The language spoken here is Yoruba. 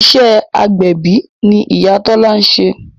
Iṣẹ́ agbẹ̀bí ni Ìyá Tọ́lá ń ṣe